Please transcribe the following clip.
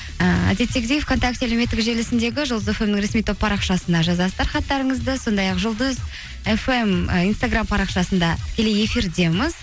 ііі әндеттегідей вконтакте әлеуметтік желісіндегі жұлдыз фм нің ресми топ парақшасына жазасыздар хаттарыңызды сондай ақ жұлдыз фм і инстаргам парақшасында тікелей эфирдеміз